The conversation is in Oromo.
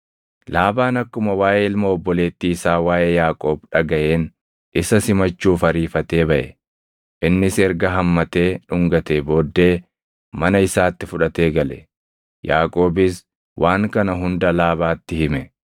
Laabaan akkuma waaʼee ilma obboleettii isaa waaʼee Yaaqoob dhagaʼeen isa simachuuf ariifatee baʼe. Innis erga hammatee dhungatee booddee mana isaatti fudhatee gale; Yaaqoobis waan kana hunda Laabaatti hime.